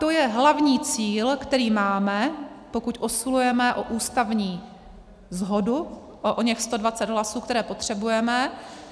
To je hlavní cíl, který máme, pokud usilujeme o ústavní shodu, o oněch 120 hlasů, které potřebujeme.